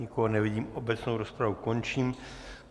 Nikoho nevidím, obecnou rozpravu končím.